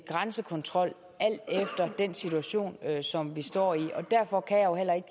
grænsekontrol alt efter den situation som vi står i derfor kan jeg jo heller ikke